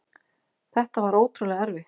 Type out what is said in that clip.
Þetta var ótrúlega erfitt.